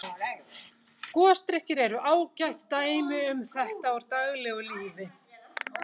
Gosdrykkir eru ágætt dæmi um þetta úr daglegu lífi.